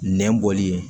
Nɛn bɔli ye